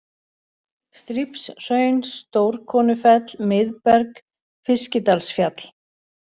Strípshraun, Stórkonufell, Miðberg, Fiskidalsfjall